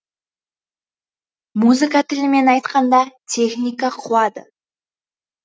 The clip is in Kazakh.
музыка тілімен айтқанда техника қуады